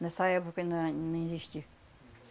Nessa época ainda nem existia.